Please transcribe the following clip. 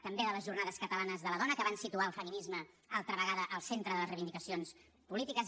també de les jornades catalanes de la dona que van situar el feminisme altra vegada al centre de les reivindicacions polítiques